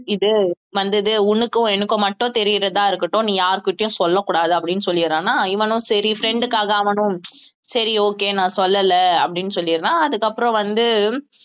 இது வந்தது உனக்கும் எனக்கும் மட்டும் தெரியறதா இருக்கட்டும் நீ யார்கிட்டயும் சொல்லக் கூடாது அப்படின்னு சொல்லிடறானா இவனும் சரி friend க்காக அவனும் சரி okay நான் சொல்லலை அப்படின்னு சொல்லிடறான் அதுக்கப்புறம் வந்து